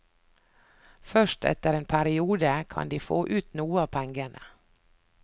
Først etter en periode kan de få ut noe av pengene.